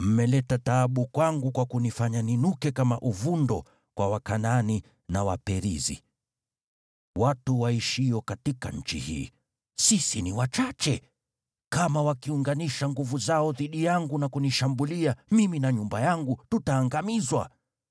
“Mmeleta taabu kwangu kwa kunifanya ninuke kama uvundo kwa Wakanaani na Waperizi, watu waishio katika nchi hii. Sisi ni wachache, kama wakiunganisha nguvu zao dhidi yangu na kunishambulia, mimi na nyumba yangu tutaangamizwa.”